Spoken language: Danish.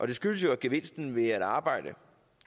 det skyldes jo at gevinsten ved at arbejde